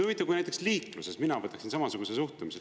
Huvitav, kui näiteks liikluses mina võtaksin samasuguse suhtumise.